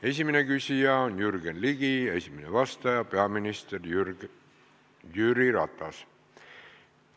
Esimene küsija on Jürgen Ligi ja esimene vastaja on peaminister Jüri Ratas.